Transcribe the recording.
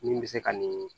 Min bɛ se ka nin